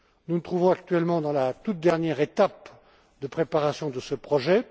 Nous nous trouvons, actuellement, dans la toute dernière étape de préparation de ce projet.